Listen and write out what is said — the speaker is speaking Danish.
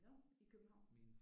Nå. I København?